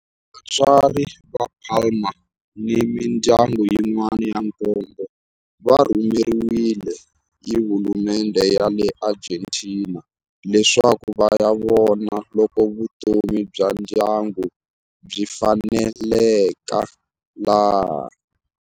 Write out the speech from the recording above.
Vatswari va Palma ni mindyangu yin'wana ya nkombo va rhumeriwe hi hulumendhe ya le Argentina leswaku va ya vona loko vutomi bya ndyangu byi faneleka laha.